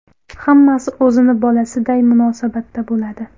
Hammasi o‘zini bolasiday munosabatda bo‘ladi.